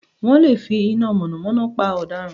Wọ́n lè finá mọ̀nàmọ́ná pa ọ̀daràn